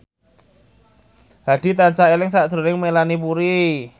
Hadi tansah eling sakjroning Melanie Putri